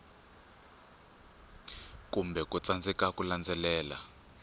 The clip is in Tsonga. kumbe ku tsandzeka ku landzelela